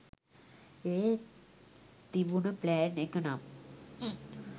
ඒත් තිබුණ ප්ලෑන් එක නම්